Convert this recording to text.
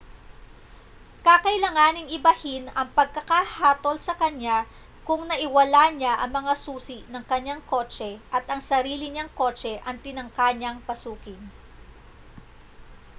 kakailanganing ibahin ang pagkakahatol sa kaniya kung naiwala niya ang mga susi ng kaniyang kotse at ang sarili niyang kotse ang tinangka niyang pasukin